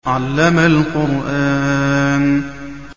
عَلَّمَ الْقُرْآنَ